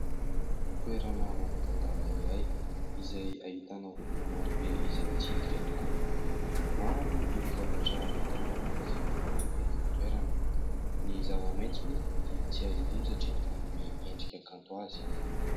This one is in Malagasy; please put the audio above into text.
Toerana manan-tantara iray izay ahitana olona maro be izay mitsidika tokoa. Maro ireo zavatra hita miavaka sy vaovao eny amin'ny toerana. Ny zava-maitso tsy hay hadino satria manome endrika kanto ho azy.